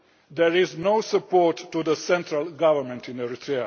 poverty. There is no support to the central government